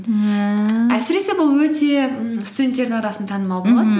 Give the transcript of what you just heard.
ііі әсіресе бұл өте м студенттердің арасында танымал